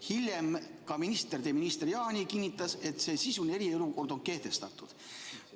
Hiljem kinnitas ka minister Jaani, et see sisuline eriolukord on kehtestatud.